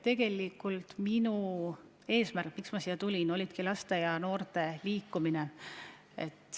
Tegelikult minu eesmärk, miks ma siia tulin, ongi püüda teha midagi laste ja noorte liikumise huvides.